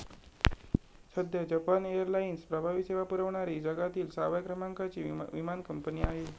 सध्या जपान एअरलाइन्स प्रवासी सेवा पुरवणारी जगातिल सहाव्या क्रमांकाची विमान कंपनी आहे.